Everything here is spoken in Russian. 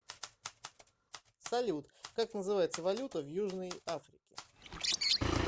салют как называется валюта в южной африке